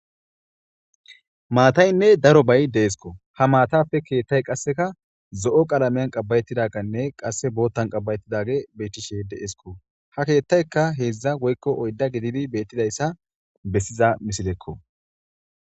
maataynne daro bay deesko ha maatafe keethtay qasseka zo7o qalameyan qabbayettidaganne qasse boottan qabbayettidage beettishe deesko ha keettayka heedzdza woykko oyda gididi beettidayssa bessiza misilekko